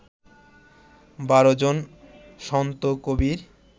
বারো জন সন্ত কবির